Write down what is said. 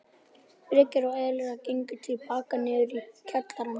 Birkir og Elías gengu til baka niður í kjallarann.